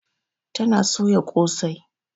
Ta na soya kosai.